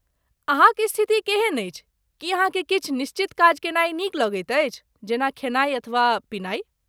अहाँक स्थिति केहन अछि, की अहाँकेँ किछु निश्चित काज केनाइ नीक लगैत अछि, जेना खेनाइ अथवा पीनाइ?